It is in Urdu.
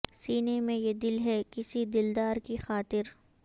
سینے میں یہ دل ہے کسی دلدار کی خاطر